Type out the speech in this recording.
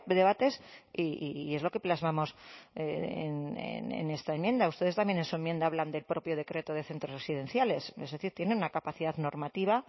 debates y es lo que plasmamos en esta enmienda ustedes también en su enmienda hablan del propio decreto de centros residenciales es decir tiene una capacidad normativa